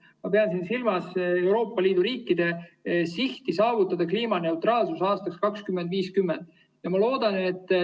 Ma pean siin silmas Euroopa Liidu riikide sihti saavutada kliimaneutraalsus aastaks 2050.